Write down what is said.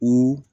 O